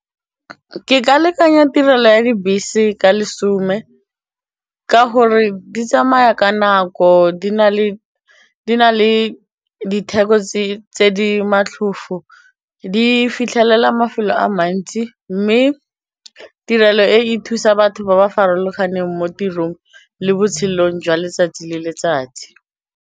Ke ka lekanyetsa tirelo ya dibese ka lesome ka gore di tsamaya ka nako di na le ditheko tse di di fitlhelela mafelo a mantsi mme tirelo e e thusa batho ba ba farologaneng mo tirong le botshelong jwa letsatsi le letsatsi.